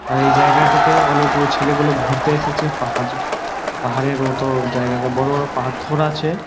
আর এই জায়গাটাতে অনেক গুলো ছেলে গুলো ঘুরতে এসেছে। পাহাড় পাহাড়ের মতো জায়গাটা বড়ো বড়ো পাথর আছে ।